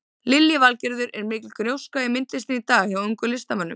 Lillý Valgerður: Er mikil gróska í myndlistinni í dag hjá ungum listamönnum?